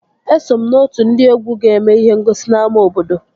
Eso m n'otu ndị egwu ga-eme ihe ngosi n'ámá obodo